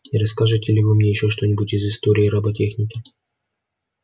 не расскажете ли вы мне ещё что-нибудь из истории роботехники